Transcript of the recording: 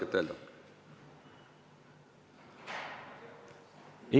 Ivi Eenmaa, palun!